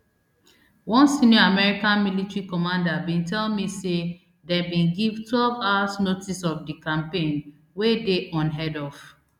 one senior american military commander bin tell me say dem bin give twelve hours notice of di campaign wey dey unheard of